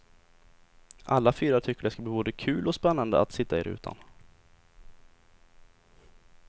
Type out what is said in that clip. Alla fyra tycker det ska bli både kul och spännande att sitta i rutan.